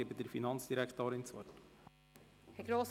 Ich erteile der Finanzdirektorin das Wort.